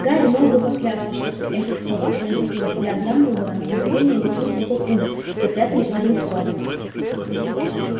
гарри мог бы поклясться что при этих словах пронзительный взгляд дамблдора на мгновение метнулся в тот угол где прятались они с роном